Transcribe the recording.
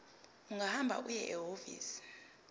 ungahamba uye ehhovisi